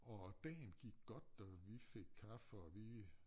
Og dagen gik godt og vi fik kaffe og vi